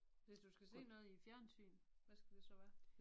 Hvis du skal se noget i æ fjernsyn hvad skal det så være?